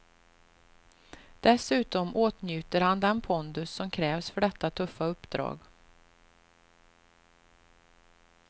Dessutom åtnjuter han den pondus som krävs för detta tuffa uppdrag.